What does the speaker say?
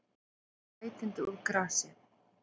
Sætindi úr grasi